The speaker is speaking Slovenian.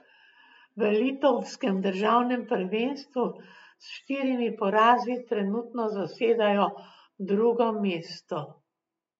V litovskem državnem prvenstvu s štirimi porazi trenutno zasedajo drugo mesto.